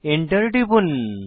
Enter টিপুন